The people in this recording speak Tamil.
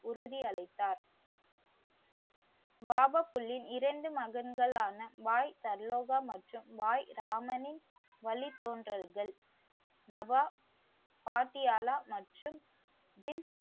உறுதி அளித்தார். வாஹப் புலின் இரண்டு மகன்களான வாய்தல்லோபா மற்றும் வாய்ராமனின் வழி தோன்றல்கள் நவாப் பாட்டியாலா மற்றும் புதின் உறுதி அளித்தார்.